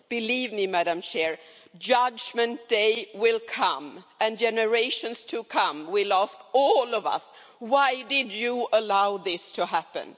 Believe me, judgment day will come and generations to come will ask all of us, why did you allow this to happen?